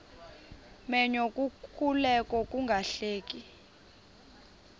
menyo kukuleka ungahleki